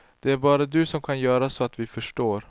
Det är bara du som kan göra så att vi förstår.